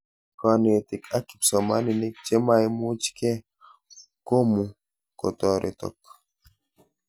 Konetik ak kipsomanink chemaimuchke komu kotoretok